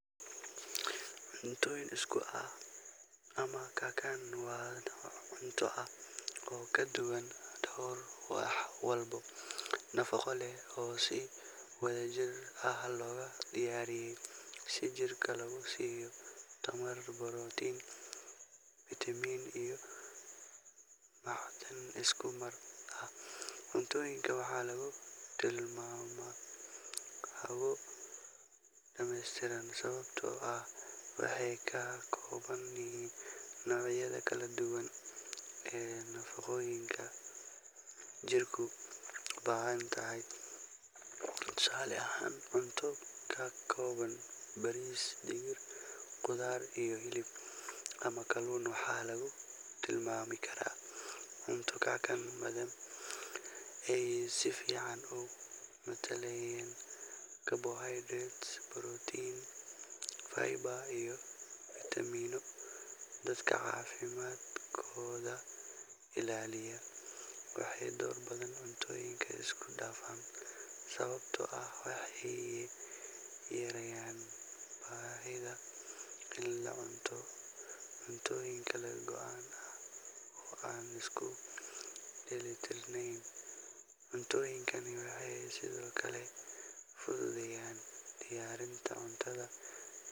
Cuntoyin isku ah ama kakan waa noc cunto ah oo kaduwan wax walbo nafaqo leh oo si wadha jir ah lo diyariyay si jirto lo siyo protein vitamin iyo macdin isku mar ah, cuntoyinka waxaa lagu tilmama xarwo damestiran sikasto ah nawiyaada kale kala duwan nafaqoyinka jirku u bahantahay tusale ahan cunto qarkodha baris digir qudhaar iyo hilib ama kaluma xaladho cawin karaa ee si fican doran kartaa si protein fiber iyo vitameno dadka cafimaadkodha ilaliya, waxee dor badan isku dafan sawabto ah waxee yareyan bahidha in lacuno cuntoyin kala gogoan oo an isku deli tirnen, cuntoyinkan waxee sithokale fududeyan diyarinta cuntadha.